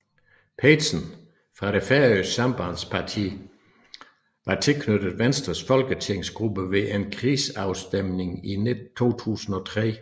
Petersen fra det færøske Sambandspartiet var tilknyttet Venstres folketingsgruppe ved en krigsafstemning i 2003